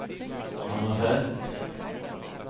Hammerfest